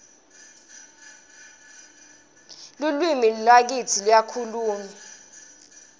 lalwimi lakitsi luyakhulmywa